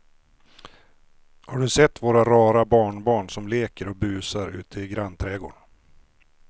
Har du sett våra rara barnbarn som leker och busar ute i grannträdgården!